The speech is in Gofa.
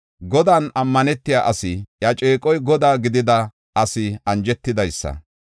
“Godan ammanetiya asi, iya ceeqoy Godaa gidida asi anjetidaysa.